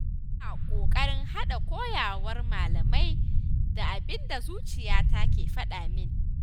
Ina ƙoƙarin haɗa koyarwar malamai da abin da zuciyata ke faɗamin